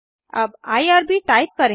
अब IRB type करें